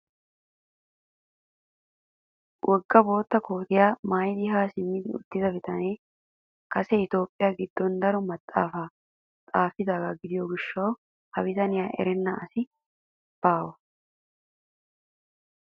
Woggaa bootta kootiyaa maayidi haa simmi uttida bitanee kase itoophphiyaa giddon daro maxaafaa xaafidaagaa giishshawu ha bitaniyaa erenna asikka baa.